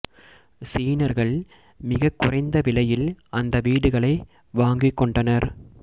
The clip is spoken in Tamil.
சீனர்கள் மிகக் குறைந்த விலையில் அந்த வீடுகளை வாங்கிக் கொண்டனர்